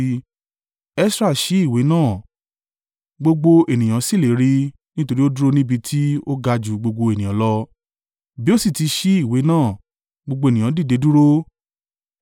Esra ṣí ìwé náà, gbogbo ènìyàn sì le rí í nítorí ó dúró níbi tí ó ga ju gbogbo ènìyàn lọ; bí ó sì ti ṣí ìwé náà, gbogbo ènìyàn dìde dúró.